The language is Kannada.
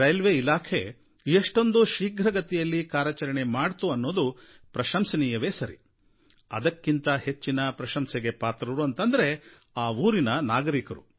ರೈಲ್ವೇ ಇಲಾಖೆ ಎಷ್ಟೊಂದು ಶೀಘ್ರಗತಿಯಲ್ಲಿ ಕಾರ್ಯಾಚರಣೆ ಮಾಡಿತು ಅನ್ನೋದು ಪ್ರಶಂಸನೀಯವೇ ಸರಿ ಅದಕ್ಕಿಂತ ಹೆಚ್ಚಿನ ಪ್ರಶಂಸೆಗೆ ಪಾತ್ರರು ಅಂದರೆ ಆ ಊರಿನ ನಾಗರಿಕರು